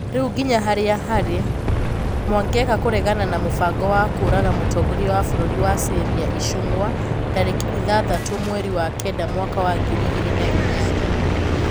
ruga nginya harĩa harĩ ,Mwangeka kũregana na mũbango wa kũũraga mũtongoria wa bururi wa Syria Icũng'wa tarĩki ithathatũ mweri wa kenda mwaka wa ngiri igĩrĩ na inyanya 8